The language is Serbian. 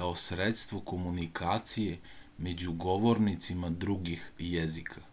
kao sredstvo komunikacije među govornicama drugih jezika